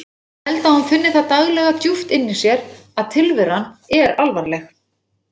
Ég held að hún finni það daglega djúpt inni í sér að tilveran er alvarleg.